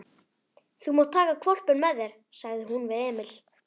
Þú mátt taka hvolpinn með þér, sagði hún við Emil.